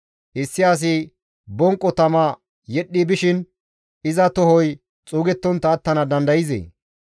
Issi asi bonqo tama yedhdhi bishin iza tohoy xuugettontta attana dandayzee?